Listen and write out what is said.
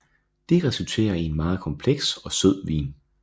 Det resulterer i en meget kompleks og sød vin